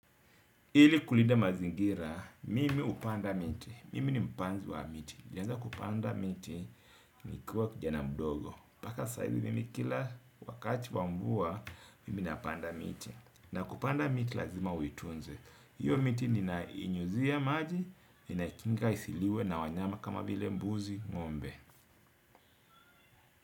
Ili kulida mazingira, mimi upanda miti. Mimi ni mpanzi wa miti. Nilianza kupanda miti nikiwa kijana mdogo. mpaka saizi mimi kila wakati wa mvua, mimi napanda miti. Na kupanda miti lazima uitunze. Hiyo miti ninainyuzia maji, ninakinga isiliwe na wanyama kama vile mbuzi ngombe.